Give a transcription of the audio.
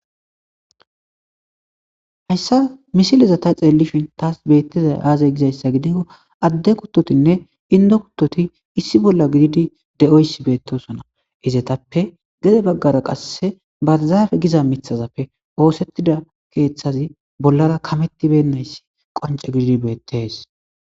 Hayssa misileza ta xeellishin taas beettizay aazay gizayssa gidikko adde kuttotinne indo kuttoti issi bolla gididi de,oyssi beettosona izetappe gede baggara qasse barzaafe giza mithazappe oosettida keeththazi bollara kamettibennayssi qonce gididi beettees.